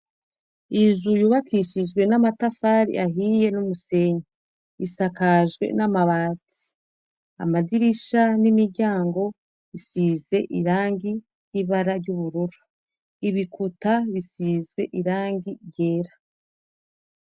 Inzu yubakishijwe n'amatafari ahiye n'umusenyi. Isakajwe n'amabati. Amadirisha n'imiryango bisize irangi ry'ibara ry'ubururu. Ibikuta bisizwe irangi ryera.